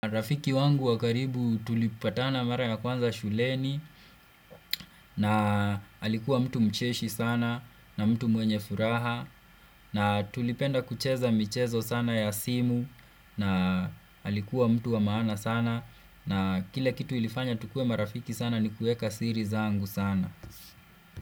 Rafiki wangu wakaribu tulipatana mara ya kwanza shuleni na alikuwa mtu mcheshi sana na mtu mwenye furaha na tulipenda kucheza mchezo sana ya simu na alikuwa mtu wa maana sana na kile kitu ilifanya tukuwe marafiki sana ni kuweka siri zangu sana.